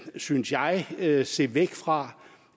synes jeg jeg se væk fra